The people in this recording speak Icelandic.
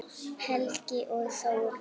Helgi og Þórunn.